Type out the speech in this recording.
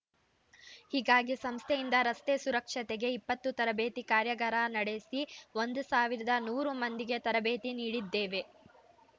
ಹೀಗಾಗಿ ಸಂಸ್ಥೆಯಿಂದ ರಸ್ತೆ ಸುರಕ್ಷತೆಗೆ ಇಪ್ಪತ್ತು ತರಬೇತಿ ಕಾರ್ಯಗಾರ ನಡೆಸಿ ಒಂದು ಸಾವಿರದ ನೂರು ಮಂದಿಗೆ ತರಬೇತಿ ನೀಡಿದ್ದೇವೆ